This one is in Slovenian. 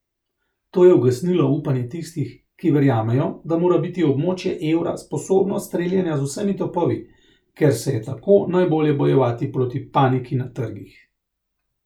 To je ugasnilo upanje tistih, ki verjamejo, da mora biti območje evra sposobno streljanja z vsemi topovi, ker se je tako najbolje bojevati proti paniki na trgih.